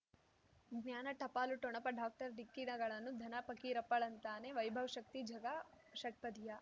ಜ್ಞಾನ ಟಪಾಲು ಠೊಣಪ ಡಾಕ್ಟರ್ ಢಿಕ್ಕಿ ಣಗಳನು ಧನ ಫಕೀರಪ್ಪ ಳಂತಾನೆ ವೈಭವ್ ಶಕ್ತಿ ಝಗಾ ಷಟ್ಪದಿಯ